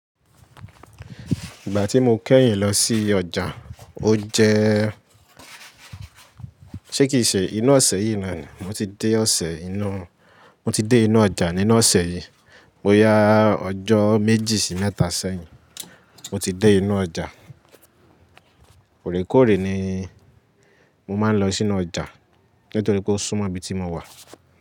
Ìgbà tí mo kẹ́yìn lọ sí ọjà, ó jẹ́ ṣé kìí ṣe inú ọ̀sẹ̀ yìí na nìí. Mo ti dé ọ̀sẹ̀ inú Mo ti dé inú ọjà nínú ọ̀sẹ̀ yìí. Bo yá ọjọ́ méjì sí mẹ́ta sẹ́yìn mo ti dé inú ọjà. Òrèkòre ni mo máa ń lọ sínú ọjà nítorí kó súmọ̀ ibi tí mo wà.